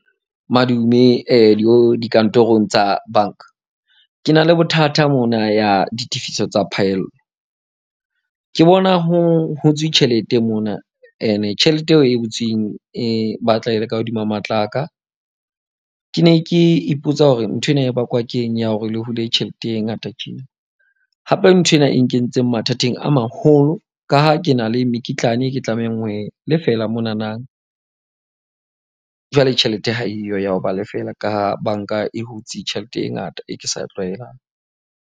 Madume dikantorong tsa banka. Ke na le bothata mona ya ditefiso tsa phaello. Ke bona ho hutswe tjhelete mona. Ene tjhelete eo e hutsweng e batla e le ka hodima matla a ka. Ke ne ke ipotsa hore nthwena e bakwa ke eng ya hore le hule tjhelete e ngata tjena. Hape, nthwena e nkentse mathateng a maholo, ka ha ke na le mekitlane e ke tlamehang ho e lefela monana. Jwale tjhelete ha eyo ya ho ba lefela ka ha banka e hutse tjhelete e ngata, e ke sa e tlwaelang.